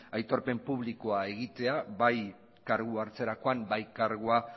aitorpen publikoa egitea bai kargua hartzerakoan bai kargua